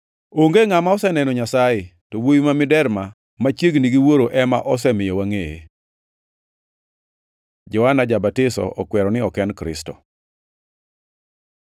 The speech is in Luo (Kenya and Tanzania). Onge ngʼama oseneno Nyasaye, to Wuowi ma Miderma machiegni gi Wuoro ema osemiyo wangʼeye. Johana ja-Batiso okwero ni ok en Kristo